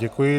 Děkuji.